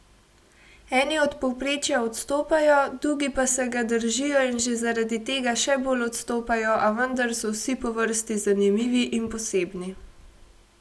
Eni od povprečja odstopajo, dugi pa se ga držijo in že zaradi tega še bolj odstopajo, a vendar so vsi po vrsti zanimivi in posebni.